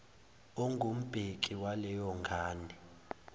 ongumbheki waleyo ngane